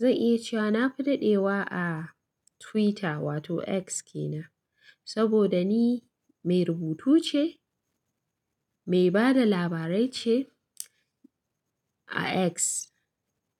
zan iya cewa na fi dadewa a Twitter wato X ke nan. Saboda ni mai rubutu ce, mai ba da labarai ce a X.